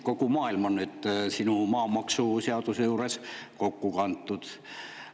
Kogu maailm on nüüd sinu maamaksuseadusega juures kokku.